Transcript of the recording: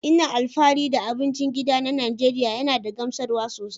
Ina alfahari da abincin gida na Najeriya yana da gamsarwa sosai.